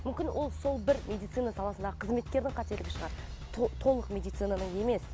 мүмкін ол сол бір медицина саласындағы қызметкердің қателігі шығар толық медицинаның емес